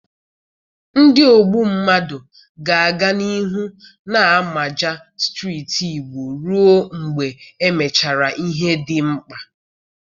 Ndi ogbu mmadụ ga-aga n'ihu na-amaja steeti Igbo ruo mgbe emechara ihe dị mkpa.